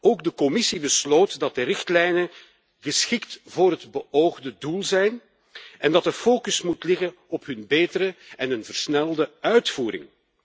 Ook de Commissie besloot dat de richtlijnen geschikt zijn voor het beoogde doel en dat de focus moet liggen op hun betere en een versnelde uitvoering.